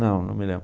Não, não me lembro.